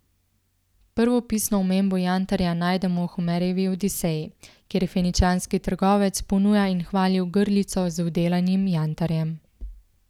Prvo pisno omembo jantarja najdemo v Homerjevi Odiseji, kjer feničanski trgovec ponuja in hvali ogrlico z vdelanim jantarjem.